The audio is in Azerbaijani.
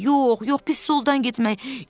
Yox, yox, biz soldan getməliyik.”